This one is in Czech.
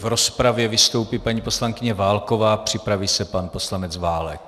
V rozpravě vystoupí paní poslankyně Válková, připraví se pan poslanec Válek.